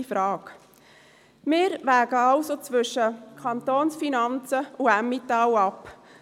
Wir wägen also zwischen Kantonsfinanzen und Emmental ab.